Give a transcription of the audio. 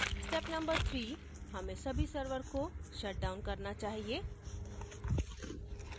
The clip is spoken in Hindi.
step no 3: हमें सभी सर्वर को शटडाउन करना चाहिए